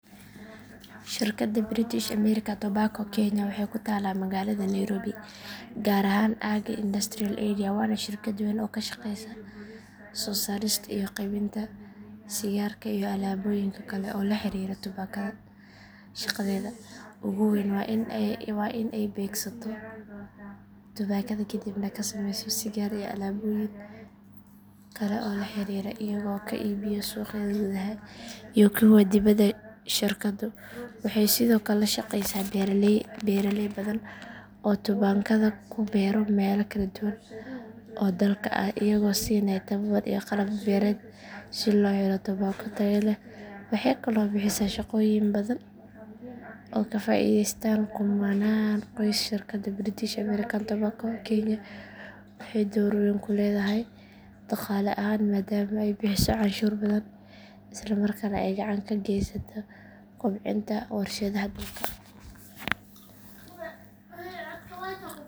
Shirkadda British American Tobacco kenya waxay ku taallaa magaalada nairobi gaar ahaan aagga industrial area waana shirkad weyn oo ka shaqeysa soo saarista iyo qaybinta sigaarka iyo alaabooyinka kale ee la xiriira tubaakada shaqadeeda ugu weyn waa in ay beegsato tubaakada ka dibna ka sameyso sigaar iyo alaabooyin kale oo la xiriira iyagoo ka iibiyo suuqyada gudaha iyo kuwa dibadda shirkaddu waxay sidoo kale la shaqeysaa beeraley badan oo tubaakada ku beera meelo kala duwan oo dalka ah iyagoo siinaya tababar iyo qalab beereed si loo helo tubaako tayo leh waxay kaloo bixisaa shaqooyin badan oo ay ka faa’iideystaan kumannaan qoys shirkadda British American Tobacco kenya waxay door weyn ku leedahay dhaqaale ahaan maadaama ay bixiso canshuur badan isla markaana ay gacan ka geysato kobcinta warshadaha dalka.